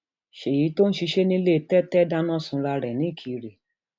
ṣéyí tó ń ṣiṣẹ nílẹ tètè dáná sunra rẹ nìkìrẹ